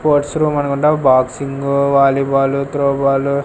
Sports room అనుకుంటా boxing volleyball throw ball .